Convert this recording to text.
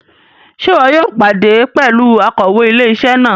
Ṣe ìwò yóò pàdé pẹlú Akòwé ilé-isé náà?